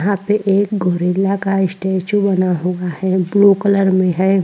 यहाँ पर गोरिल्ला का स्टैचू बना हुआ है ब्लू कलर में हैं।